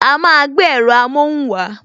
A máa gbé èrọ amohun wa